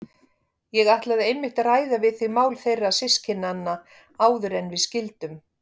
Ég ætlaði einmitt að ræða við þig mál þeirra systkinanna áður en við skildum.